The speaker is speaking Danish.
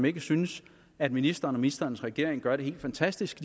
ikke synes at ministeren og ministerens regering gør det helt fantastisk